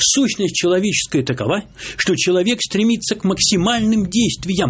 сущность человеческая такова что человек стремится к максимальным действиям